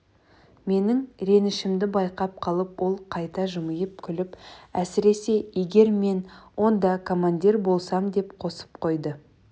менің ренішімді байқап қалып ол қайта жымиып күліп әсіресе егер мен онда командир болсам деп қосып қойды